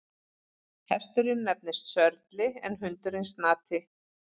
Hesturinn nefnist Sörli en hundurinn Snati.